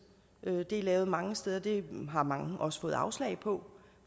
det er lavet mange steder det har mange også fået afslag på